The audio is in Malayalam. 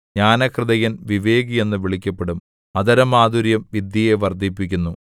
ജ്ഞാനഹൃദയൻ വിവേകി എന്ന് വിളിക്കപ്പെടും അധരമാധുര്യം വിദ്യയെ വർദ്ധിപ്പിക്കുന്നു